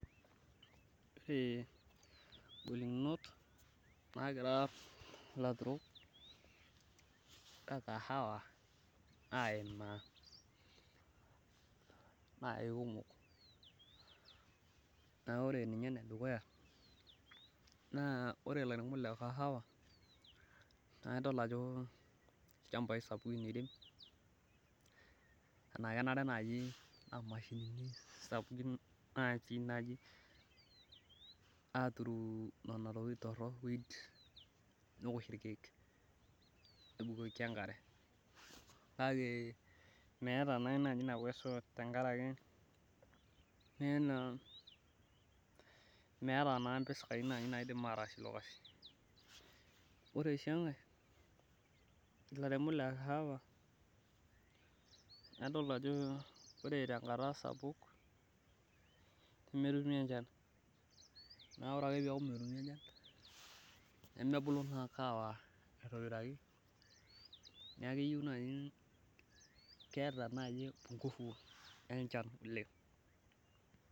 Ore golikinot naagira ilaturol le kahawa aimaa na keikumok, naa ore ninye ene dukuya, naa ore ilaunok le kahawa naa idol ajo olchampai sapukin etii. neeku kenare naa mashinini sapukin natii naturu ntokitin torok, neosh ilkeek. nebukoki enkare. kake meeta naa mpisai naidim aatsie ilo kasi. ore sii enkae ilairemok le kahawa nadol ajo ore tenkata sapuk, nemetumi enchan nemebuku naa kahawa neeku keyieu naaji. keta naaji enchan oleng'.